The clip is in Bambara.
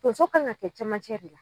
Tonso kan ka kɛ camancɛ de la